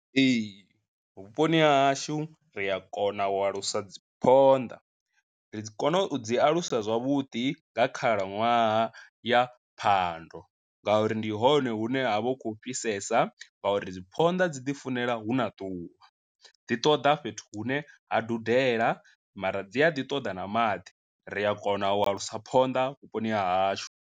Ee, vhuponi ha hashu ri a kona u alusa dzi phonḓa, ri dzi kona u dzi alusa zwavhuḓi nga khalaṅwaha ya phando ngauri ndi hone hune ha vha hu khou fhisesa ngauri dzi phonḓa dzi ḓifunela huna ḓuvha, dzi ṱoḓa fhethu hune ha dudela mara dzi a ḓi ṱoḓa na maḓi ri a kona u a lusa phonḓa vhuponi ha hashu.